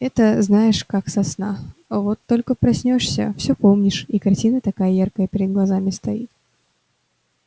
это знаешь как со сна вот только проснёшься всё помнишь и картина такая яркая перед глазами стоит